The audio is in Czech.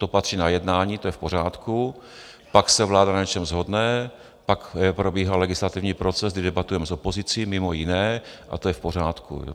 To patří na jednání, to je v pořádku, pak se vláda na něčem shodne, pak probíhá legislativní proces, kdy debatujeme s opozicí mimo jiné, a to je v pořádku.